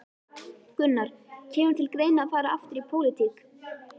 Gunnar: Kemur til greina að fara aftur í pólitík?